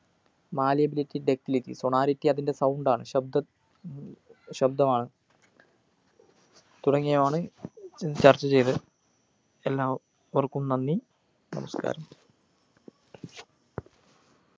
malleability ductilitysonority അതിൻ്റെ sound ആണ് ശബ്‌ദ ശബ്‌ദമാണ് തുടങ്ങിയവയാണ് ചർച്ചചെയ്തത് എല്ലാ വർക്കും നന്ദി നമസ്‌കാരം